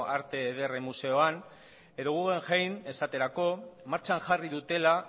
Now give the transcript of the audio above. arte ederren museoan edo guggenheim esaterako martxan jarri dutela